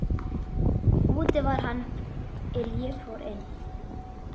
Úti var hann er ég fór inn.